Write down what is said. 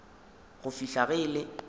go fihla ge e le